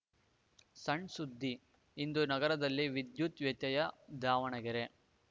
ಸಣ್‌ ಸುದ್ದಿ ಇಂದು ನಗರದಲ್ಲಿ ವಿದ್ಯುತ್‌ ವ್ಯತ್ಯಯ ದಾವಣಗೆರೆ